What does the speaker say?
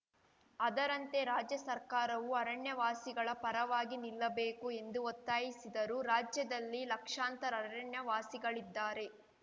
ಅದರಂತೆ ರಾಜ್ಯ ಸರ್ಕಾರವೂ ಅರಣ್ಯವಾಸಿಗಳ ಪರವಾಗಿ ನಿಲ್ಲಬೇಕು ಎಂದು ಒತ್ತಾಯಿಸಿದರು ರಾಜ್ಯದಲ್ಲಿ ಲಕ್ಷಾಂತರ ಅರಣ್ಯವಾಸಿಗಳಿದ್ದಾರೆ